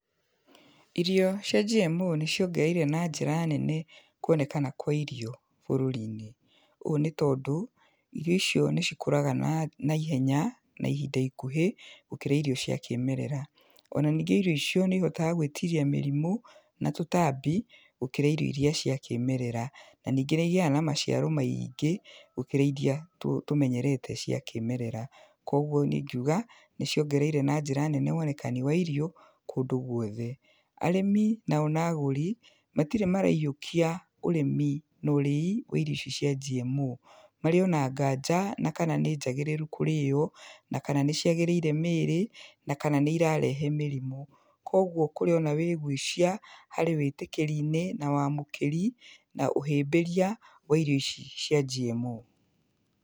Irio cia GMO nĩciongereire na njĩra nene kuonekana kwa irio bũrũri-inĩ, ũũ nĩ tondũ irio icio nĩcikũraga na, naihenya na ihinda ikuhĩ gũkĩra icio cia kĩmerera. Ona ningĩ irio icio nĩ ihotaga gwĩtiria mĩrimũ na tũtambi gũkĩra irio iria cia kĩmerera. Na ningĩ nĩ igiaga na maciaro maingĩ gũkĩra iria tũ, tũmenyerete cia kĩmerera. Kogwo niĩ ingiuga nĩciongereire na njĩra nene wonekani wa irio kũndũ gwothe. Arĩmi nao na agũri matirĩ mareiyũkia ũrĩmi norĩi wa irio ici cia GMO. Marĩ ona nganja na kana nĩnjagĩrĩru kũrĩywo, na kana nĩciagĩrĩire mĩĩrĩ, na kana nĩ irarehe mĩrimũ. Kogwo kũrĩ ona wĩgucia harĩ wĩtĩkĩri-inĩ na wamũkĩri na ũhĩmbĩria wa irio ici cia GMO.